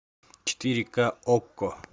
четыре ка окко